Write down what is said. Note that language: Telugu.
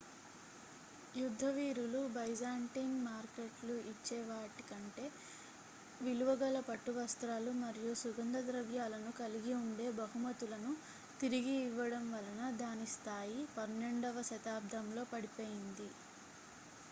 యుద్ధ వీరులు byzantine మార్కెట్లు ఇచ్చే వాటి కంటే విలువ గల పట్టు వస్త్రాలు మరియు సుగంధ ద్రవ్యాలను కలిగి ఉండే బహుమతులను తిరిగి ఇవ్వడం వలన దాని స్థాయి 12వ శతాబ్దంలో పడిపోయింది